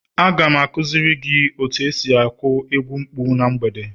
Aga m akuziri gi otu esi aku egwu mkpu na mgbede